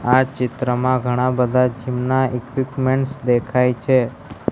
આ ચિત્રમાં ઘણા બધા જીમ ઈક્વિપમેન્ટ્સ દેખાય છે.